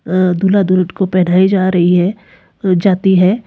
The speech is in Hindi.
अ दूल्हा दुल्हन को पहनाई जा रही है जाती है।